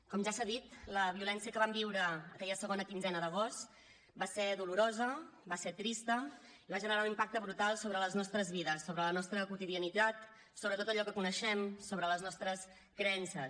com ja s’ha dit la violència que vam viure aquella segona quinzena d’agost va ser dolorosa va ser trista i va generar un impacte brutal sobre les nostres vides sobre la nostra quotidianitat sobre tot allò que coneixem sobre les nostres creences